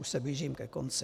- Už se blížím ke konci.